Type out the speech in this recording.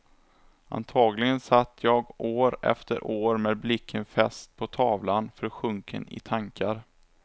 Antagligen satt jag år efter år, med blicken fäst på tavlan, försjunken i tankar.